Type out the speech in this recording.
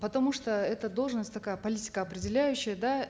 потому что эта должность такая политикоопределяющая да